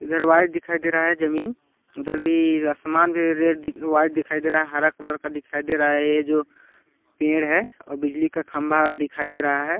इधर व्हाइट दिखाई दे रहा है जमीन उधर भी आसमान भी रेड और व्हाइट दिखाई दे रहा है हरा कलर का दिखाई दे रहा है ये जो पेड़ है और बिजली का खंभा दिखाई दे रहा हैं।